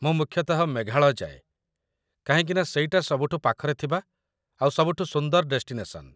ମୁଁ ମୁଖ୍ୟତଃ ମେଘାଳୟ ଯାଏ, କାହିଁକିନା ସେଇଟା ସବୁଠୁ ପାଖରେ ଥିବା ଆଉ ସବୁଠୁ ସୁନ୍ଦର ଡେଷ୍ଟିନେସନ୍‌ ।